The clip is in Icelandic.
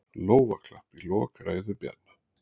Lófaklapp í lok ræðu Bjarna